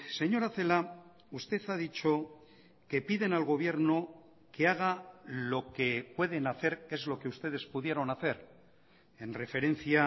señora celaá usted ha dicho que piden al gobierno que haga lo que pueden hacer que es lo que ustedes pudieron hacer en referencia